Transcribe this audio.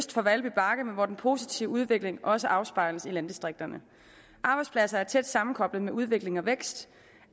for valby bakke men hvor den positive udvikling også afspejles i landdistrikterne arbejdspladser er tæt sammenkoblet med udvikling og vækst